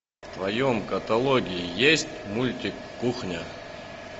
в твоем каталоге есть мультик кухня